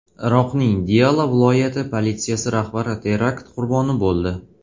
Iroqning Diyala viloyati politsiyasi rahbari terakt qurboni bo‘ldi.